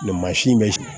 mansin bɛ sigi